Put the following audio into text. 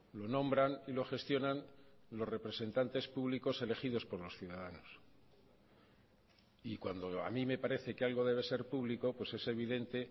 lo nombran y lo gestionan los representantes públicos elegidos por los ciudadanos y cuando a mí me parece que algo debe ser público pues es evidente